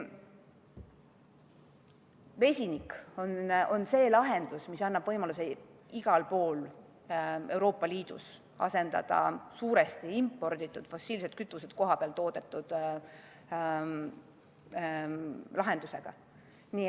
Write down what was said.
Vesinik on see, mis annab võimaluse igal pool Euroopa Liidus asendada suuresti imporditud fossiilsed kütused kohapeal toodetud lahendusega.